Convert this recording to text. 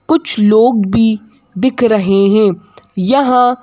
कुछ लोग भी दिख रहे हैं यहां--